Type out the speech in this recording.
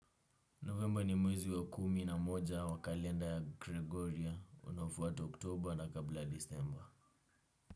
Novemba ni mwezi wa kumi na moja wa kalenda ya Gregoria. Unafuata oktoba na kabla ya disemba.